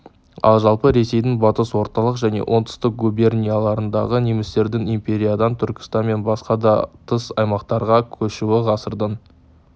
ал жалпы ресейдің батыс орталық және оңтүстік губернияларындағы немістердің империядан түркістан мен басқа да тыс аймақтарға көшуі ғасырдың